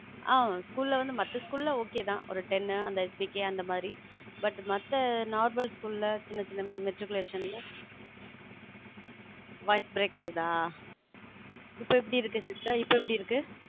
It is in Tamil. அஹ் school ல வந்து மத்த school லாம் okay தான் ஒரு ten K அந்த மாதிரி but மத்த normal school சின்னச் சின்ன matriculation ல voice break ஆகுதா? இப்ப எப்படி இருக்கு sister இப்ப எப்படி இருக்கு?